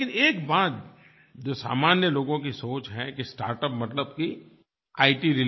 और लेकिन एक बात जो सामान्य लोगों की सोच है कि स्टार्टअप मतलब कि iट